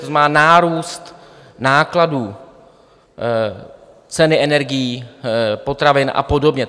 To znamená nárůst nákladů, ceny energií, potravin a podobně.